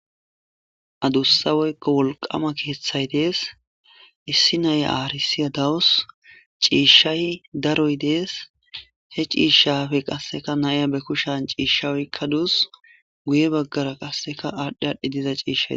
Adusa woyko wolqama kethay des issi naya arsiya dawus c'ishay daroy dees he c'ishapekka naya be kushen c'isha oykadus guye bagara qaseka adhi adhi diza cishay des.